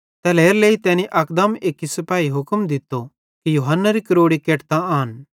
तैल्हेरेलेइ तैनी अकदम एक्की सिपाही हुक्म दित्तो कि यूहन्नारी क्रोड़ी केटतां आन